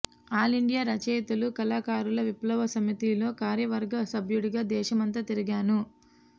all India రచయితలు కళాకారుల విప్లవ సమితిలో కార్యవర్గ సభ్యుడిగా దేశమంతా తిరిగాను